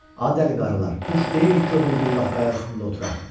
Ay dəli qarılar, quş deyilik ki, ömür billah qaya üstündə oturaq.